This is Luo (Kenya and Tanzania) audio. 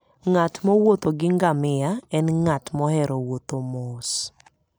Ng'at mowuotho gi ngamia en ng'at mohero wuotho mos.